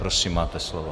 Prosím, máte slovo.